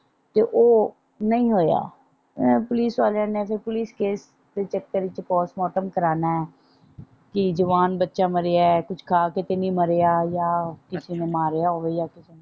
ਤੇ ਉਹ ਨਹੀਂ ਹੋਇਆ ਪੁਲਿਸ ਵਾਲਿਆਂ ਨੇ ਪੁਲਿਸ ਕੇਸ ਦੇ ਚੱਕਰ ਵਿੱਚ ਪੋਸਟ ਮਾਰਟਮ ਕਰਵਾਉਣਾ ਕਿ ਜਵਾਨ ਬੱਚਾ ਮਰਿਆ ਕੁਛ ਖਾ ਕੇ ਤੇ ਨਹੀਂ ਮਰਿਆ ਜਾਂ ਕਿਸੇ ਨੇ ਮਾਰਿਆ ਹੋਵੇ ਜਾਂ।